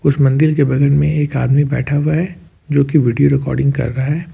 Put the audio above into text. उस मंदिर के बगल में एक आदमी बैठा हुआ है जो की वीडियो रिकॉर्डिंग कर रहा है।